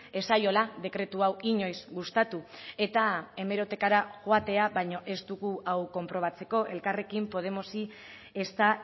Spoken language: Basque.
ez zaiola dekretu hau inoiz gustatu eta hemerotekara joatea baino ez dugu hau konprobatzeko elkarrekin podemosi ezta